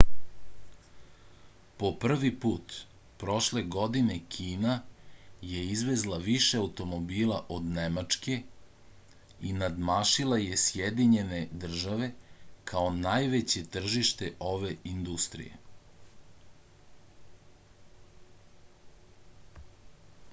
po prvi put prošle godine kina je izvezla više automobila od nemačke i nadmašila je sjedinjene države kao najveće tržište ove industrije